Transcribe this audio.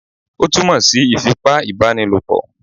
Ó túmọ̀ sí ìfipá ìbá ni lòpọ̀